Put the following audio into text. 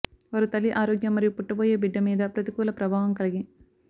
వారు తల్లి ఆరోగ్య మరియు పుట్టబోయే బిడ్డ మీద ప్రతికూల ప్రభావం కలిగి